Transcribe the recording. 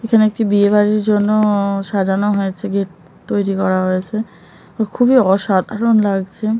এখানে একটি বিয়ে বাড়ির জন্য- সাজানো হয়েছে গেট তৈরি করা হয়েছে খুবই অসাধারণ লাগছে।